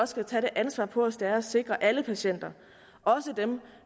skal tage det ansvar på os det er at sikre alle patienter også dem